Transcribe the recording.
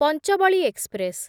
ପାଞ୍ଚଭାଲି express